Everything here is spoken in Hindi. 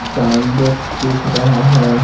साउंड बॉक्स दिख रहा है।